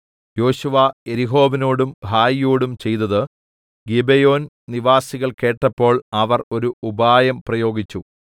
യോശുവ യെരിഹോവിനോടും ഹായിയോടും ചെയ്തത് ഗിബെയോൻ നിവാസികൾ കേട്ടപ്പോൾ അവർ ഒരു ഉപായം പ്രയോഗിച്ചു